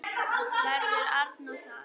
Verður Arnór þar?